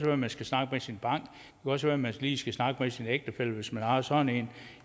at man skal snakke med sin bank det også være at man lige skal snakke med sin ægtefælle hvis man har sådan en